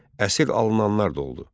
Əsir alınanlar da oldu.